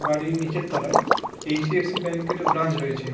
বাড়ির নিচের তলায় এইচ.ডি.এফ.সি ব্যাঙ্ক এর ব্রাঞ্চ রয়েছে ।